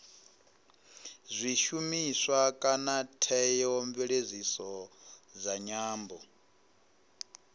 zwishumiswa kana theomveledziso dza nyambo